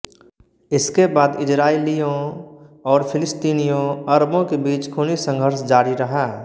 इसके बाद इजराइलियों और फिलिस्तीनीयों अरबों के बीच खूनी संघर्ष जारी रहा